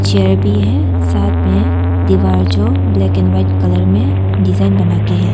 Chair भी है साथ में है दीवार जो ब्लैक एंड व्हाइट कलर में डिजाइन बना के हैं।